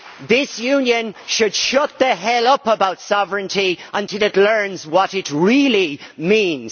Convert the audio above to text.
This Union should shut the hell up about sovereignty until it learns what it really means.